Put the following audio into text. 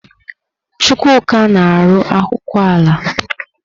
Chukwuka na-arụ akwụkwọ ala.